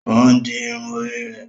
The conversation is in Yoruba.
O n di irun orí rẹ